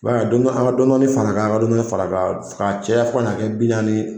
don dɔ an ka dɔɔni dɔɔni far'a kan, an ka dɔɔni dɔɔni far'a kan ka caya fo ka n'a kɛ bi naani.